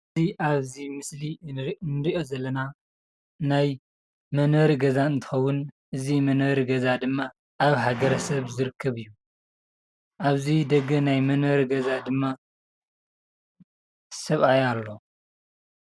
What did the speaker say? እዚ ኣብዚ ምስሊ እንሪኦ ዘለና ናይ መንበሪ ገዛ እንትኸውን ድማ ኣብ ሃገረ-ሰብ ዝርከብ እዩ። ኣብዚ ደገ ናይ መንበሪ ገዛ ድማ ሰብኣይ ኣሎ።